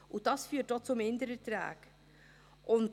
Dies führt auch zu Mindererträgen.